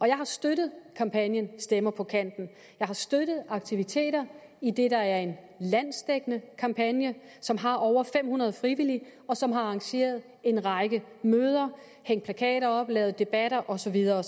jeg har støttet kampagnen stemmer på kanten jeg har støttet aktiviteter i det der er en landsdækkende kampagne som har over fem hundrede frivillige som har arrangeret en række møder hængt plakater op lavet debatter og så videre